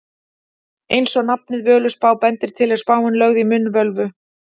Eins og nafnið Völuspá bendir til er spáin lögð í munn völvu.